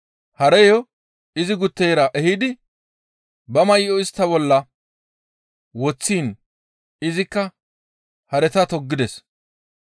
Hareyo izi gutteyra ehidi ba may7o istta bolla woththiin izikka hareta toggides.